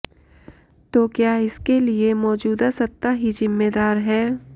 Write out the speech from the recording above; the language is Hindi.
तो क्या इसके लिये मौजूदा सत्ता ही जिम्मेदार है